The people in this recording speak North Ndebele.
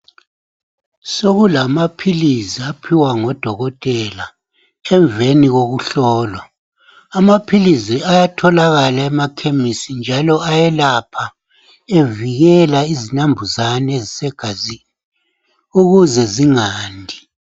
Sokulamaphilizi aphiwa ngodokotela emveni kokuhlolwa. Amaphilizi ayatholakala emakhemisi njalo ayelapha evikele izinembuzane egazini, ukuze zingandi.